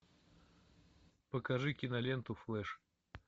покажи киноленту флэш